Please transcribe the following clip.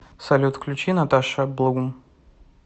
салют включи наташа блум